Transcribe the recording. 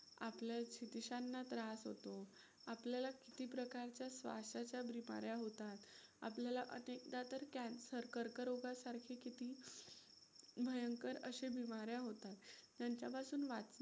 आपलं त्रास होतो. आपल्याला किती प्रकारचा श्वासाच्या बीमाऱ्या होतात. आपल्याला अनेकदा तर cancer कर्करोगासारखे किती भयंकर अशे बीमाऱ्या होतात. यांच्यापासून वाचणं